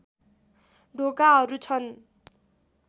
ढोकाहरू छन्